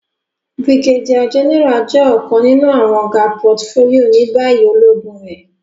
Brigadier General jẹ ọkan ninu awọn ga portfolio ni bayi ologun re.